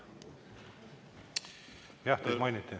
Jah, teid mainiti.